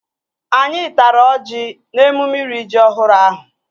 Anyị tara ọjị n'emume iri ji ọhụrụ ahụ